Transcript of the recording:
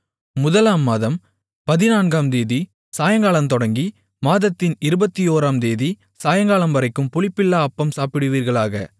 முதலாம் மாதம் பதினான்காம் தேதி சாயங்காலந்தொடங்கி மாதத்தின் இருபத்தோராம் தேதி சாயங்காலம்வரைக்கும் புளிப்பில்லா அப்பம் சாப்பிடுவீர்களாக